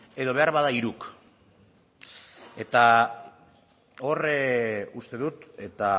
edo beharbada hiruk eta hor uste dut eta